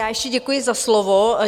Já ještě děkuji za slovo.